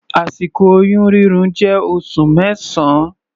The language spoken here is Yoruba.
Àsìkò oyún rírùn jẹ́ oṣù mẹsan.